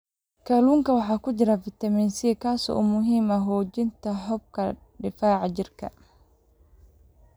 Kalluunka waxaa ku jira fitamiin C, kaas oo muhiim u ah xoojinta habka difaaca jirka.